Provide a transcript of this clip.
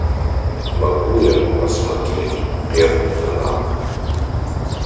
могу я посмотреть первый канал